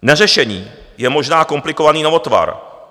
Neřešení je možná komplikovaný novotvar.